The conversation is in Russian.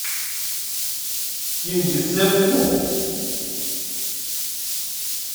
кингисеппу